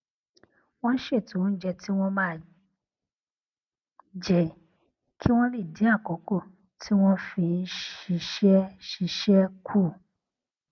wón ṣètò oúnjẹ tí wón máa jẹ kí wón lè dín àkókò tí wón fi ń ṣiṣé ṣiṣé kù